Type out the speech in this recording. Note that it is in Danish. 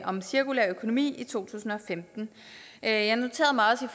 om cirkulær økonomi i to tusind og femten jeg jeg noterede mig også